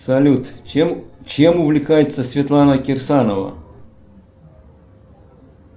салют чем увлекается светлана кирсанова